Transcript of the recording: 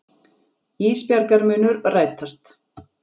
Ísbjargar munu rætast.